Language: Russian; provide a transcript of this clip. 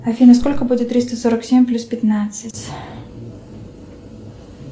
афина сколько будет триста сорок семь плюс пятнадцать